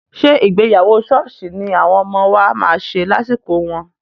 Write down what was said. Ṣé ìgbéyàwó ṣọ́ọ̀ṣì ni àwọn ọmọ wa máa ṣe lásìkò wọn?